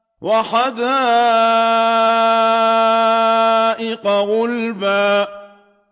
وَحَدَائِقَ غُلْبًا